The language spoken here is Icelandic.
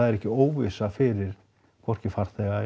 er ekki óvissa fyrir hvorki farþega